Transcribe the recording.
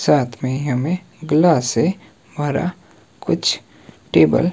साथ मे हमें ग्लास से भरा कुछ टेबल --